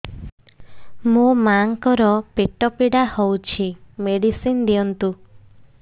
ମୋ ମାଆଙ୍କର ପେଟ ପୀଡା ହଉଛି ମେଡିସିନ ଦିଅନ୍ତୁ